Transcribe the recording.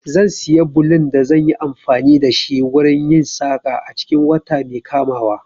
Zan siya ɓulun da zan yi amfani da shi wurin yin saƙa a cikin wata mai kamawa.